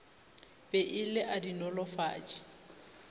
be e le a dinolofatši